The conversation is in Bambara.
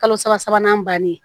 Kalo saba sabanan bannen